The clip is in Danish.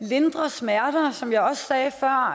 lindre smerter som jeg også sagde før og